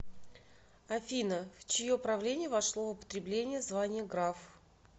афина в чье правление вошло в употребление звания граф